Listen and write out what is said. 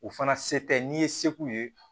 O fana se tɛ n'i ye se k'u ye